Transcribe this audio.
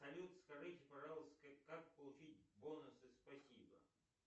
салют скажите пожалуйста как получить бонусы спасибо